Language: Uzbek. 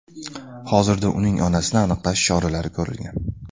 Hozirda uning onasini aniqlash choralari ko‘rilgan.